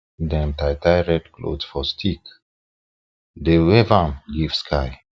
dem tie tie red cloth for stick dey wave am give sky